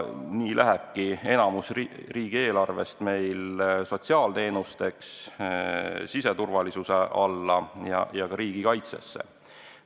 Suurem osa riigieelarvest kulubki sotsiaalteenusteks, siseturvalisuse ja ka riigikaitse tagamiseks.